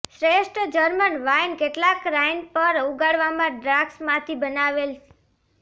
શ્રેષ્ઠ German wine કેટલાક Rhine પર ઉગાડવામાં દ્રાક્ષ માંથી બનાવેલ